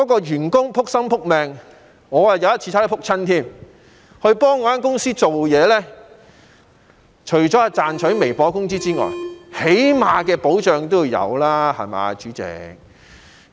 員工"仆心仆命"為公司工作——我有一次也差點跌倒——除了是為賺取微薄的工資外，起碼的保障也要有吧，對嗎，主席？